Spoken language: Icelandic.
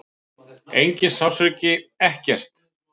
Enginn sársauki, ekkert.